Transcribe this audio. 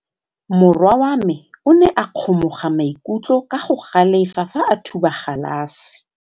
Morwa wa me o ne a kgomoga maikutlo ka go galefa fa a thuba galase.